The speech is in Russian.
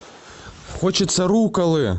хочется рукколы